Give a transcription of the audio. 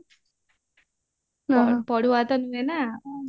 ହଁ ପଢୁଆଁ ତ ନୁହେ ନାଁ